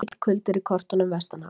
Mikill kuldi er í kortunum vestanhafs